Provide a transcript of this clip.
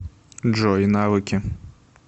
джой навыки